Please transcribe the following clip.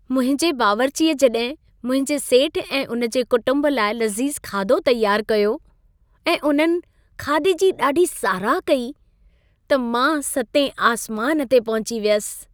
मुंहिंजे बावर्चीअ जॾहिं मुंहिंजे सेठ ऐं उन जे कुटुंब लाइ लज़ीज़ खाधो तयारु कयो ऐं उन्हनि खाधे जी ॾाढी साराह कई, त मां सतें आसमान ते पहुची वियुसि।